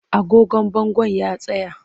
Agogon bangon ya tsaya.